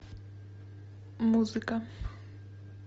музыка